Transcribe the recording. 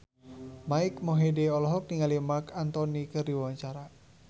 Mike Mohede olohok ningali Marc Anthony keur diwawancara